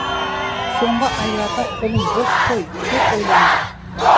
соңғы айларда қолым бос қой көп ойландым